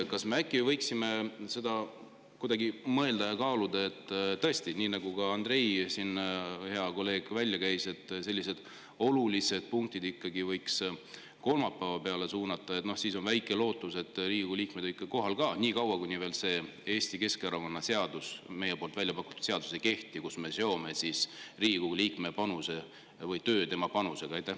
Kas me võiksime kuidagi mõelda ja kaaluda, et tõesti, nii nagu ka Andrei, hea kolleeg, siin välja käis, et sellised olulised punktid võiks ikkagi kolmapäeva peale suunata, siis on väike lootus, et Riigikogu liikmed on kohal ka, niikaua, kuni ei kehti see Eesti Keskerakonna väljapakutud seadus, kus me seome Riigikogu liikme töö tema panusega?